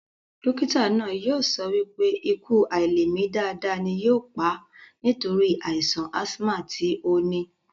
Dókítà náà yóò sọ wípé ikú àilèmi dáadáa ni yóò pà á nítorí àìsàn ásímà tí ó ní